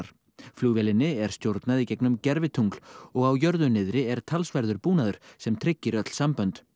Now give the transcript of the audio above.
flugvélinni er stjórnað í gegnum gervitungl og á jörðu niðri er talsverður búnaður sem tryggir öll sambönd